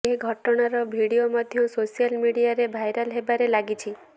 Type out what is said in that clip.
ଏଘଟଣାର video ମଧ୍ୟ social ମିଡିଆରେ viral ହେବାରେ ଲାଗିଛି